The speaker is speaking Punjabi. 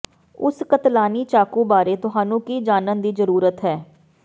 ਉਸ ਕਤਲਾਨੀ ਚਾਕੂ ਬਾਰੇ ਤੁਹਾਨੂੰ ਕੀ ਜਾਣਨ ਦੀ ਜ਼ਰੂਰਤ ਹੈ